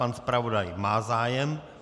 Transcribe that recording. Pan zpravodaj má zájem.